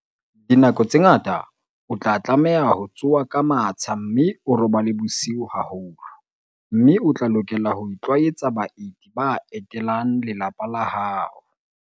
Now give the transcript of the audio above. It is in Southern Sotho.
Dinako tse ngata o tla tlameha ho tsoha ka matsha mme o robale bosiu haholo, mme o tla lokela ho itlwaetsa baeti ba etelang lelapa la hao.